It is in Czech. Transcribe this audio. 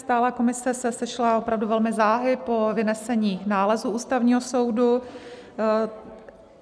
Stálá komise se sešla opravdu velmi záhy po vynesení nálezu Ústavního soudu.